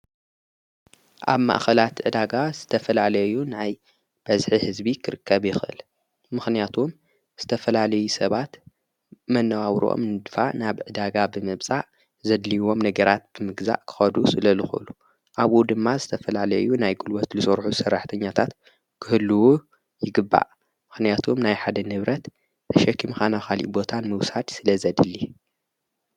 ኣብ ማእኸላት እዳጋ ዝተፈላዓለዩ ናይ በዝኂ ሕዝቢ ክርከብ የኽእል። ምኽንያቱም ዝተፈላለዩ ሰባት መነዋው ሮኦም ንድፋ ናብ ዕዳጋ ብመብጻእ ዘድልይዎም ነገራት ብምግዛእ ክኸዱስ ለልኾሉ ኣብኡ ድማ ዝተፈላለዩ ናይ ጕልወት ሊሠርኁ ሠራሕተኛታት ክህልዎ ይግባእ ምኽንያቱም ናይ ሓደ ንብረት ተሸኪምኻ ናኻሊ ቦታን ምውሳድ ስለ ዘድሊ።